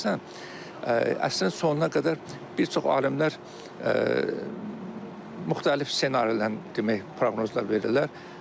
Ona əsasən əsrin sonuna qədər bir çox alimlər müxtəlif ssenarilərin demək proqnozlar verirlər.